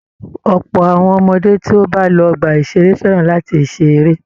Ọ̀pọ̀ àwọn ọmọdé tí ó bá lọ ọgbà-ìṣeré fẹràn láti ṣe eré.